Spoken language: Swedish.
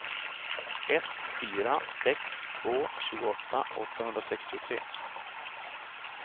ett fyra sex två tjugoåtta åttahundrasextiotre